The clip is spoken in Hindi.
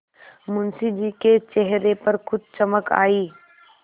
मुंशी जी के चेहरे पर कुछ चमक आई